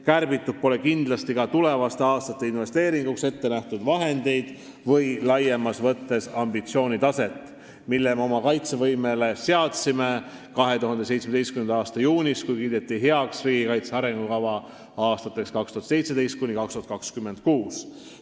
Kärbitud pole kindlasti ka tulevaste aastate investeeringuteks ette nähtud vahendeid või laiemas mõttes ambitsioonitaset, mille me seadsime oma kaitsevõimele 2017. aasta juunis, kui kiideti heaks riigikaitse arengukava aastateks 2017–2026.